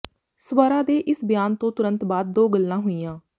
ਸਵਰਾ ਦੇ ਇਸ ਬਿਆਨ ਤੋਂ ਤੁਰੰਤ ਬਾਅਦ ਦੋ ਗੱਲਾਂ ਹੋਈਆਂ